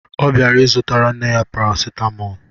Ọ bịara zụtara nne ya paracetamol